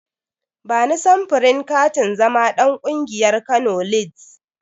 Bani samfurin katin zama ɗan ƙungiyar Kano lids.